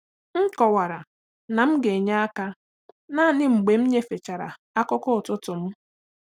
M kọwara na m ga-enye aka naanị mgbe m nyefechara akụkọ ụtụtụ m.